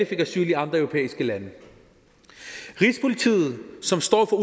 fik asyl i andre europæiske lande rigspolitiet som står for